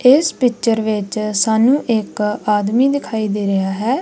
ਇੱਸ ਪਿਕਚਰ ਵਿੱਚ ਸਾਨੂੰ ਇੱਕ ਆਦਮੀ ਦਿਖਾਈ ਦੇ ਰੇਹਾ ਹੈ।